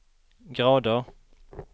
grader